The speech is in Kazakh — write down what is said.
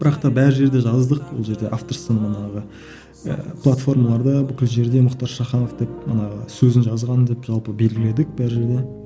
бірақ та бар жерде жаздық ол жерде автор платформаларда бүкіл жерде мұхтар шаханов деп мына сөзін жазған деп жалпы белгіледік бар жерде